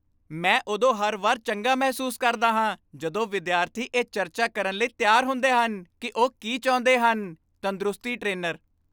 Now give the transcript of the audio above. ਮੈਂ ਉਦੋਂ ਹਰ ਵਾਰ ਚੰਗਾ ਮਹਿਸੂਸ ਕਰਦਾ ਹਾਂ ਜਦੋਂ ਵਿਦਿਆਰਥੀ ਇਹ ਚਰਚਾ ਕਰਨ ਲਈ ਤਿਆਰ ਹੁੰਦੇ ਹਨ ਕਿ ਉਹ ਕੀ ਚਾਹੁੰਦੇ ਹਨ ਤੰਦਰੁਸਤੀ ਟ੍ਰੇਨਰ